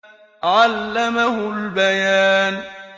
عَلَّمَهُ الْبَيَانَ